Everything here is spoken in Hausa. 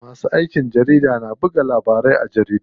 Masu aikin jarida na bubbuga labarai a jaridu.